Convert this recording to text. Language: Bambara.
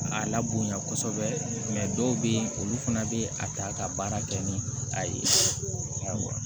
A la bonya kosɛbɛ dɔw bɛ yen olu fana bɛ a ta ka baara kɛ ni a ye